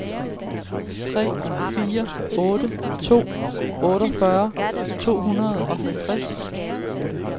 tre fire otte to otteogfyrre to hundrede og halvtreds